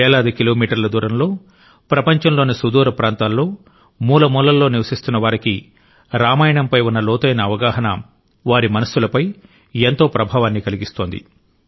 వేలాది కిలోమీటర్ల దూరంలో ప్రపంచంలోని సుదూర ప్రాంతాల్లో మూల మూలల్లో నివసిస్తున్నవారికి రామాయణం పై ఉన్న లోతైన అవగాహన వారి మనస్సులపై ఎంతో ప్రభావాన్ని కలిగిస్తోంది